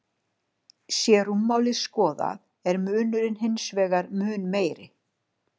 Sé rúmmálið skoðað er munurinn hins vegar mun meiri.